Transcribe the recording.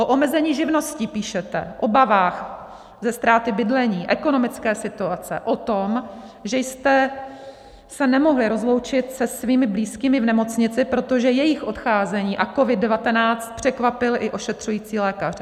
O omezení živností píšete, obavách ze ztráty bydlení, ekonomické situace, o tom, že jste se nemohli rozloučit se svými blízkými v nemocnici, protože jejich odcházení a COVID-19 překvapil i ošetřující lékaře.